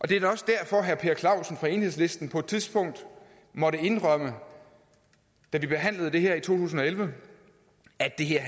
det er da også derfor herre per clausen fra enhedslisten på et tidspunkt måtte indrømme da vi behandlede det her i to tusind og elleve at det her